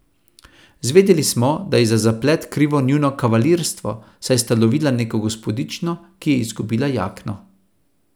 Zvedeli smo, da je za zaplet krivo njuno kavalirstvo, saj sta lovila neko gospodično, ki je izgubila jakno.